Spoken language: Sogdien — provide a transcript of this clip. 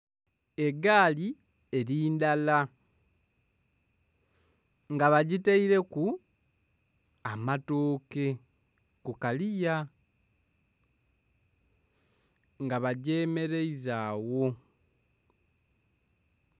Egaali eri ndala nga bagitaireku amatooke ku kaliya nga bagyemereiza agho.